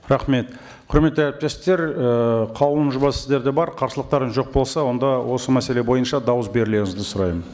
рахмет құрметті әріптестер і қаулының жобасы сіздерде бар қарсылықтарыңыз жоқ болса онда осы мәселе бойынша дауыс берулеріңізді сұраймын